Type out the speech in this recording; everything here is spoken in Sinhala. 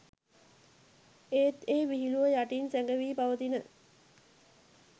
ඒත් ඒ විහිළුව යටින් සැඟවී පවතින